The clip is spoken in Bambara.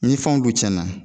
Ni fanw du tiɲɛna